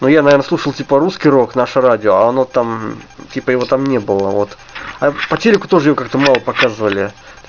но я наверно слушал типа русский рок наше радио а оно там типа его там не было вот а по телеку его тоже как-то мало показывали